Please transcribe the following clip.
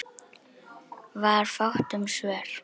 Var fátt um svör.